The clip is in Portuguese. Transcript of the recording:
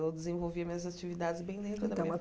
Eu desenvolvia minhas atividades bem dentro da minha Então